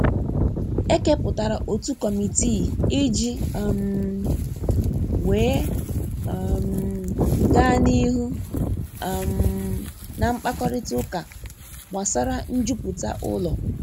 E keputara otu kọmitii i ji um wee um ga n'ihu um na mkpakorịta ụka gbasara njupụta ụlọ.